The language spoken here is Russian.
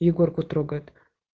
егорку трогает